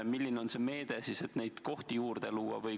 Milline on see meede, et neid kohti juurde luua?